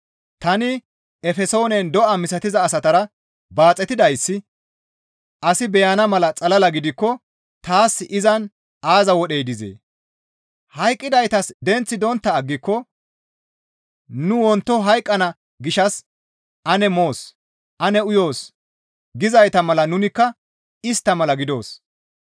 Tani Efesoonen do7a misatiza asatara baaxetidayssi asi beyana mala xalala gidikko taas izan aaza wodhey dizee? Hayqqidaytas denththi dontta aggiko, «Nu wonto hayqqana gishshas ane moos; ane uyoos» gizayta mala nunikka istta mala gidoos.